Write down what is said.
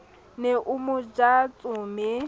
ne a mo ja tsome